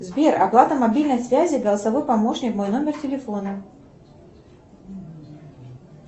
сбер оплата мобильной связи голосовой помощник мой номер телефона